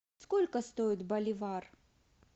сколько стоит боливар